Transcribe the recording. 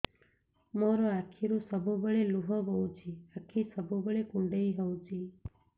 ମୋର ଆଖିରୁ ସବୁବେଳେ ଲୁହ ବୋହୁଛି ଆଖି ସବୁବେଳେ କୁଣ୍ଡେଇ ହଉଚି